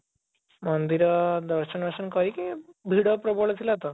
ମନ୍ଦିର ଦର୍ଶନ କରିକି ଭିଡ ପ୍ରବଳ ଥିଲା ତ